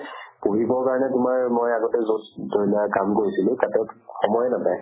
পঢ়িবৰ কাৰণে তোমাৰ মই আগতে য'ত কাম কৰিছিলো তাতে সময়ে নাপাই